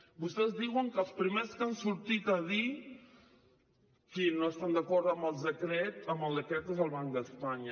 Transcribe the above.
vostès diuen que els primers que han sortit a dir qui no està d’acord amb el decret és el banc d’espanya